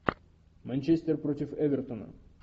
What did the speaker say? манчестер против эвертона